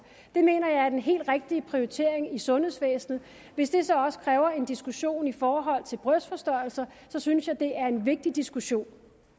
det mener jeg er den helt rigtige prioritering i sundhedsvæsenet hvis det så også kræver en diskussion i forhold til brystforstørrelser synes jeg det er en vigtig diskussion